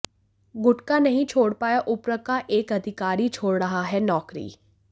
गुटखा नहीं छोड़ पाया उप्र का एक अधिकारी छोड़ रहा है नौकरी